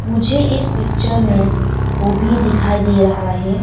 मुझे इस पिक्चर में गोभी भी दिखाई दे रहा है।